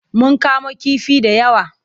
Mun kamo kifi da yawa.